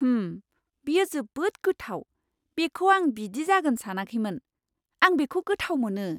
होम! बेयो जोबोद गोथाव, बेखौ आं बिदि जागोन सानाखैमोन। आं बेखौ गोथाव मोनो!